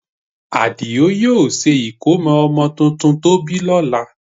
Àdìó yóò ṣe ìkómọ ọmọ tuntun tó bí lọ́la